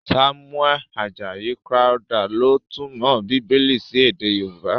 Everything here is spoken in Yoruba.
Samuel Ajayi Crowther ló túmọ̀ Bíbélì sí èdè Yorùbá.